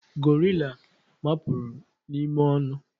gorilla mapuru n'ime onu